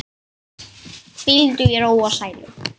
Hvíldu í ró og sælu.